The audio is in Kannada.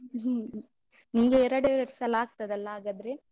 ನಿಂಗೆ ಎರಡ್ ಎರಡ್ ಸಲ ಆಗ್ತದಲ್ಲ ಹಾಗಾದ್ರೆ?